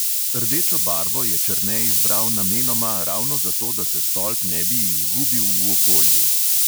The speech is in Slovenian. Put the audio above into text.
Rdečo barvo je černe izbral namenoma ravno zato, da se stolp ne bi izgubil v okolju.